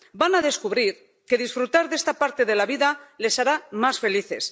Van a descubrir que disfrutar de esta parte de la vida les hará más felices.